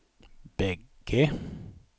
bägge